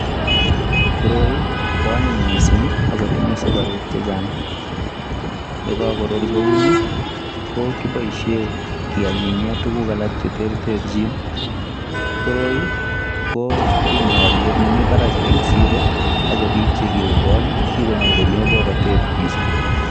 Koroi ko anyiny mising agotinye sugaruk che chang. Ye kagorur kouni ko kiboishen keanyinyen tuguk alak che terterchin. Koroi kotinye olyet nemi barak en siro ago biik che kigokol ko kigonyorune borotet mising.